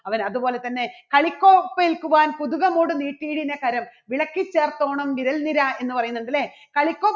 അവൻ അതുപോലെതന്നെ കളിക്കോപ്പ് ഏൽക്കുവാൻ നീട്ടിയിരുന്ന കരം വിളക്കിചേർത്തോണം വിരൽ നിര എന്ന് പറയുന്നുണ്ട് ഇല്ലേ? കളിക്കോപ്പ്